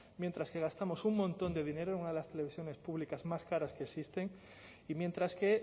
mientras que gastamos un montón de dinero en una de las televisiones públicas más caras que existen y mientras que